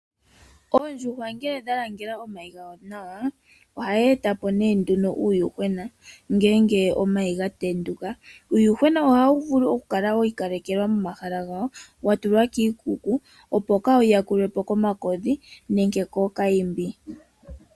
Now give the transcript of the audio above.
Oondjuhwa ngele dha langela omayi gadho nawa ohadhi eta po nduno uuyuhwena ngele omayi ga tenduka. Uuyuhwena ohawu vulu okukala wi ikalekelwa momahala gawo, wa tulwa kiikuku, opo kaa wu yakulwe po komakodhi nenge kookayimbi.